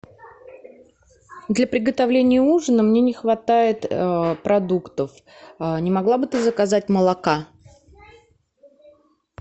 для приготовления ужина мне не хватает продуктов не могла бы ты заказать молока